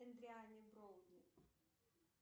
эдриан броуди